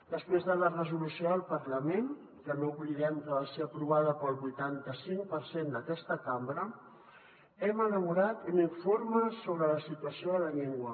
després de la resolució del parlament que no oblidem que va ser aprovada pel vuitanta cinc per cent d’aquesta cambra hem elaborat un informe sobre la situació de la llengua